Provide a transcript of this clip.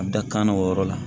A bɛ da kan na o yɔrɔ la